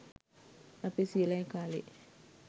අපේ සීයලා ගේ කාලේ